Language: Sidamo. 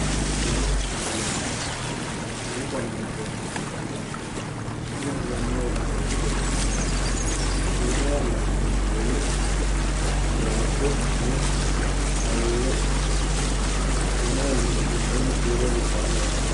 umu danancho umu dananchooti yinannihu umu fulanno woyiite kolishsho ikkanna shiima yanna gedensaanni waajjo woy awuuwe ikkanno shiima yanna gedensaanni fiire luqqae ho'lanno